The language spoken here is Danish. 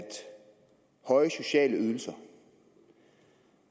høje sociale ydelser